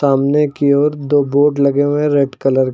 सामने की ओर दो बोर्ड लगे हुए हैं रेड कलर --